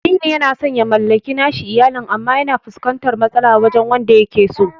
Aminu yana san ya mallaki nashi iyalin, amma yana fuskantar matsala wajen wadda yakeso.